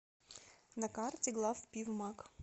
на карте главпивмаг